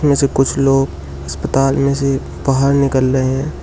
इसमें से कुछ लोग अस्पताल में से बाहर निकल रहे हैं।